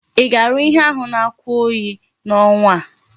Í ga-arụ ihe ahu na oku oyi na onwa a?